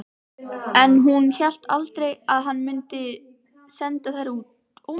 En hún hélt aldrei að hann mundi senda þær burt.